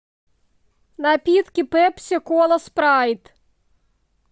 напитки пепси кола спрайт